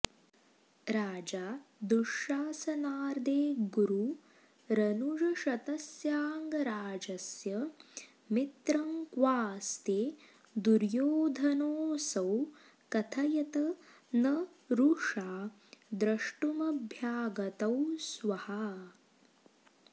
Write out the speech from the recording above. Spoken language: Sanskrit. राजा दुःशासनादेर्गुरुरनुजशतस्याङ्गराजस्य मित्रं क्वास्ते दुर्योधनोऽसौ कथयत न रुषा द्रष्टुमभ्यागतौ स्वः